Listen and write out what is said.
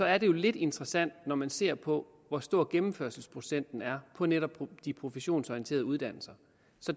er det jo lidt interessant når man ser på hvor stor gennemførelsesprocenten er på netop de professionsorienterede uddannelser